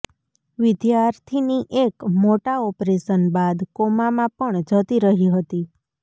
વિદ્યાર્થીની એક મોટા ઓપરેશન બાદ કોમામાં પણ જતી રહી હતી